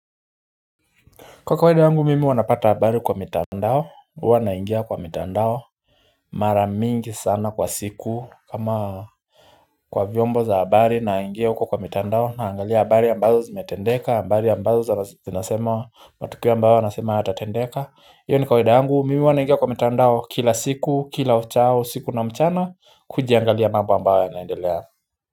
Kwa kawaida yangu mimi huwa napata habari kwa mitandao huwa naingia kwa mitandao mara mingi sana kwa siku kama kwa vyombo za habari naingia uko kwa mitandao naangalia habari ambazo zimetendeka ambazo zinasema matukio ambayo anasema yatatendeka iyo ni kawaida yangu mimi huwa naingia kwa mitandao kila siku kila uchao siku na mchana kujiangalia mambo ambayo naendelea.